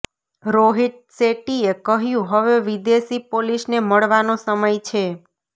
રોહિત શેટ્ટીએ કહ્યું હવે વિદેશી પોલીસને મળવાનો સમય છે